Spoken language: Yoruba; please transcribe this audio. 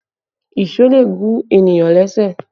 Èṣó lè gún ènìyàn ní ẹsẹ̀